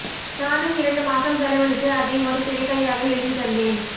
நானும் இரண்டு மாசம் செலவழித்து அதை ஒரு திரைக்கதையாக எழுதி தந்தேன்